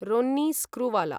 Ronnie Screwvala